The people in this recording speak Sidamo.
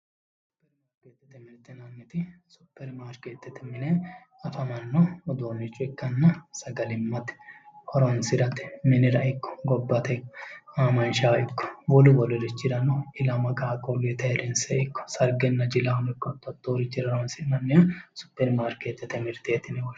Supperimarkeette yinanniti supperimarkeettete mine afamanno uduunnicho ikkanna sagalimmate horonsirate ikko miniraa ikko gobbate aamanshaho ikko wolu wolurichirarano ilama qaaqqulluyiitera ayeerrinse ikko sargenna jilahono ikko hatto hattoorichira horonsi'nannire superimarkeettete mirteeti yinanni